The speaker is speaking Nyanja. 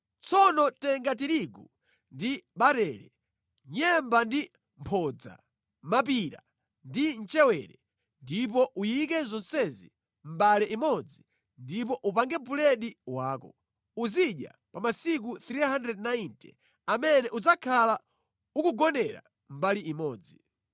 “Tsono tenga tirigu ndi barele, nyemba ndi mphodza, mapira ndi mchewere; ndipo uyike zonsezi mʼmbale imodzi ndipo upange buledi wako. Uzidya pa masiku 390 amene udzakhala ukugonera mbali imodzi.